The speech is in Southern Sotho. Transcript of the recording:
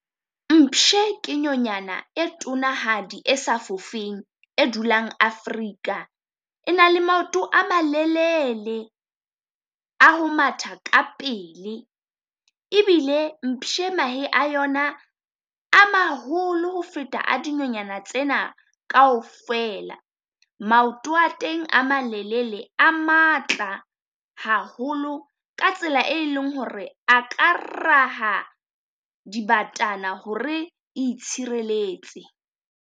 Mpshe ke nyonyana e tonanahadi e sa fofeng, e dulang Africa. E na le maoto a malelele a ho matha ka pele, ebile mpshe mahe a yona a maholo ho feta a dinonyana tsena kaofela. Maoto a teng a malelele a matla haholo, ka tsela e leng ho re a ka raha dibatana ho re itshireletse.